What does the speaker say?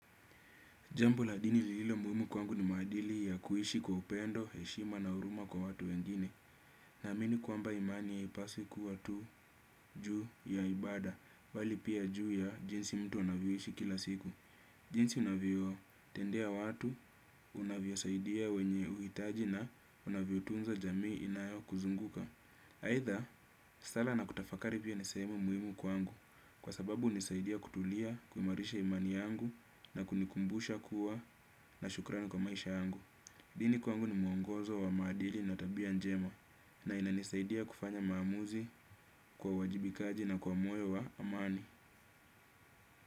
Jambo la dini lililo muhimu kwangu ni maadili ya kuishi kwa upendo, heshima na huruma kwa watu wengine. Naamini kwamba imani ipaswi kuwa tu juu ya ibada, bali pia juu ya jinsi mtu anavyoishi kila siku. Jinsi unavyotendea watu, unavyo saidia wenye uhitaji na unavyotunza jamii inayokuzunguka. Aidha, sala na kutafakari pia ni sehemu muhimu kwangu. Kwa sababu hunisaidia kutulia, kumarisha imani yangu na kunikumbusha kuwa na shukrani kwa maisha yangu. Dini kwangu ni mwongozo wa madili na tabia njema na inanisaidia kufanya maamuzi kwa uwajibikaji na kwa moyo wa amani.